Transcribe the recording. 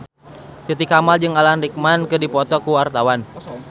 Titi Kamal jeung Alan Rickman keur dipoto ku wartawan